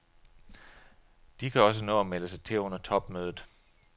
De kan også nå at melde sig til under topmødet.